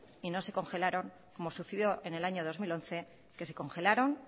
y no se congelaron como sucedió en el año dos mil once que se congelaron